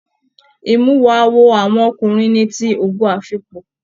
Imuwọ̀ awo àwọn ọkùnrin ní tí Ogo afikpo.